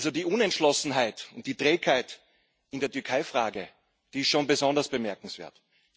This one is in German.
Die Unentschlossenheit und die Trägheit in der Türkeifrage sind schon besonders bemerkenswert.